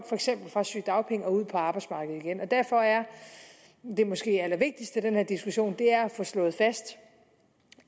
fra sygedagpenge og ud på arbejdsmarkedet igen derfor er det måske allervigtigste i den her diskussion at få slået fast